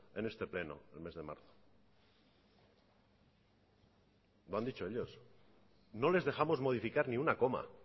en este pleno el mes de marzo lo han dicho ellos no les dejamos modificar ni una coma